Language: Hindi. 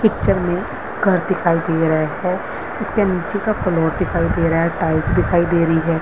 पिक्चर में घर दिखाई दे रहा है उसके नीचे का फ्लोर दिखाई दे रहा है टाइल्स दिखाई दे रही है।